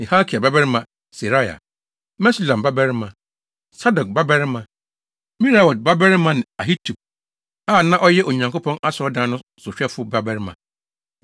ne Hilkia babarima Seraia, Mesulam babarima, Sadok babarima, Meraiot babarima ne Ahitub a na ɔyɛ Onyankopɔn Asɔredan no sohwɛfo babarima,